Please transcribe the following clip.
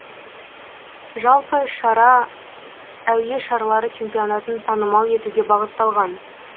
жалпы шара әуе шарлары чемпионатын танымал етуге бағытталған